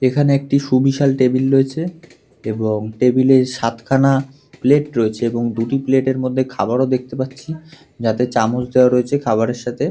এখানে একটি সুবিশাল টেবিল রয়েছে এবং টেবিলের সাতখানা প্লেট রয়েছে এবং দুটি প্লেটের মধ্যে খাবারও দেখতে পাচ্ছি। যাতে চামচ দেওয়া রয়েছে খাবারের সাথে।